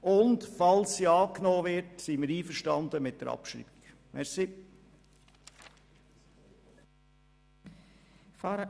Falls sie angenommen wird, sind wir mit der Abschreibung einverstanden.